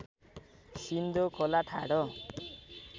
सिन्धु खोला ठाडो